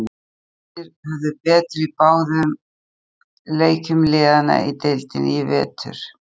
Hamrarnir höfðu betur í báðum leikjum liðanna í deildinni í vetur.